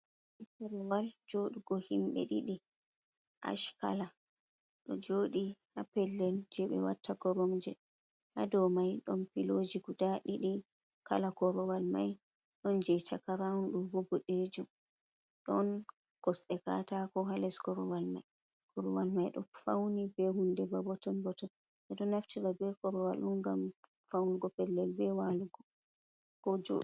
Kurwal joodugo himbe ɗiɗi ash kala, ɗo jodi ha pellel je ɓe watta koromje; ha dau mai ɗon pilooji guda ɗiɗi kala korowal mai, ɗon je chaka raawun do bo bodejum. Ɗon kosde kataako ha les korowal mai. Korowal mai ɗo fauni ɓe hunde ba boton-boton. Ɓe ɗo naftira ɓe korowal dun ngam faunugo pellel be walugo ko jodugo.